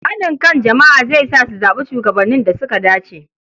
Haɗin kan jama'a zai sa su zaɓi shugabannin da suka dace.